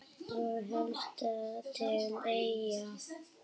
Og helst til Eyja.